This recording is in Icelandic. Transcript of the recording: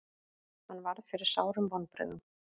Hann varð fyrir sárum vonbrigðum.